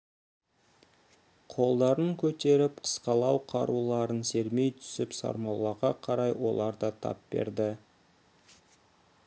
қолдарын көтеріп қысқалау қаруларын сермей түсіп сармоллаға қарай олар да тап берді